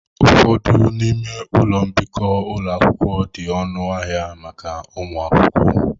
Ụfọdụ n'ime ụlọ mbikọ ụlọ akwụkwọ di ọnụ ahịa maka ụmụ akwụkwọ.